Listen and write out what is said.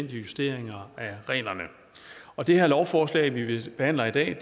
justeringer af reglerne og det her lovforslag vi behandler i dag